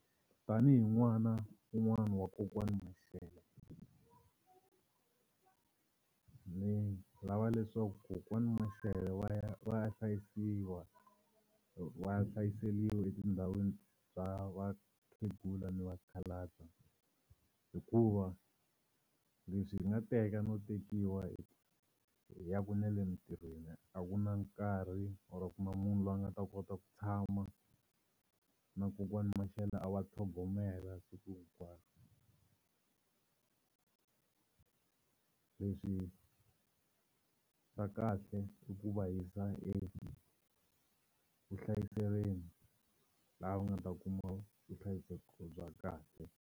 Tanihi n'wana wun'wana wa kokwani Mashele ni lava leswaku kokwani Mashele va ya va ya hlayisiwa va ya hlayiseliwa etindhawini ta vakhegula ni vakhalabya hikuva leswi hi nga teka no tekiwa hi hi yaku na le mitirhweni a ku na nkarhi or a ku na munhu loyi a nga ta kota ku tshama na kokwana Mashele a va tlhogomela siku hinkwaro. Leswi nga kahle i ku va yisa evuhlayiselweni laha va nga ta kuma vuhlayiseki bya kahle.